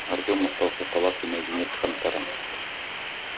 артем остался в палатке наедине с хантером